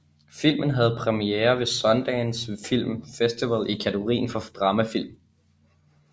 Filmen havde premiere ved Sundance Film Festival i kategorien for dramafilm